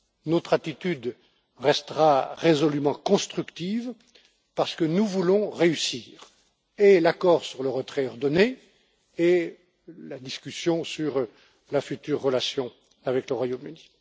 Notre attitude restera résolument constructive, parce que nous voulons mener à bien et l'accord sur le retrait ordonné et la discussion sur notre future relation avec le Royaume Uni.